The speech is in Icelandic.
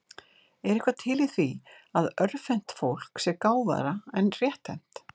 Er eitthvað til í því að örvhent fólk sé gáfaðra en rétthent?